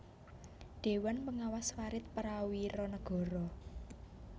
Dhéwan Pangawas Farid Prawiranegara